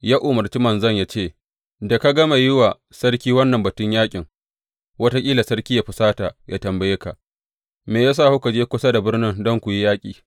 Ya umarci manzon ya ce, Da ka gama yin wa sarki wannan batun yaƙin, wataƙila sarki yă husata, yă tambaye ka, Me ya sa kuka je kusa da birnin don ku yi yaƙi?